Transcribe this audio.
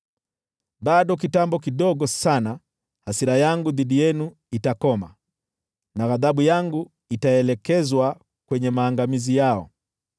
Bado kitambo kidogo sana hasira yangu dhidi yenu itakoma, na ghadhabu yangu itaelekezwa kwenye maangamizi yao.”